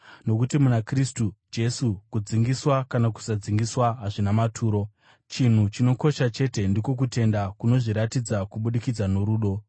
Nokuti muna Kristu Jesu kudzingiswa kana kusadzingiswa hazvina maturo. Chinhu chinokosha chete ndiko kutenda kunozviratidza kubudikidza norudo.